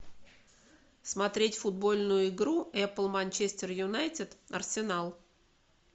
смотреть футбольную игру апл манчестер юнайтед арсенал